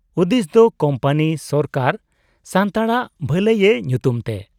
ᱩᱫᱤᱥᱫᱚ ᱠᱩᱢᱯᱟᱹᱱᱤ ᱥᱚᱨᱠᱟᱨ ᱥᱟᱱᱛᱟᱲᱟᱜ ᱵᱦᱟᱹᱞᱟᱹᱭ ᱮ ᱧᱩᱛᱩᱢ ᱛᱮ ᱾